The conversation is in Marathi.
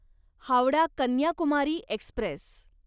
हावडा कन्याकुमारी एक्स्प्रेस